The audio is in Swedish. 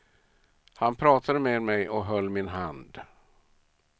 Han pratade med mig och höll min hand.